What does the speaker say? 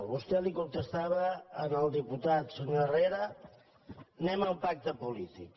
vostè li contestava al diputat senyor herrera anem al pacte polític